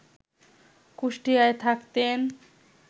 কুষ্টিয়ায় থাকতেন